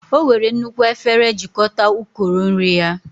Ọ were nnukwu efere jikọta ukoro nri ya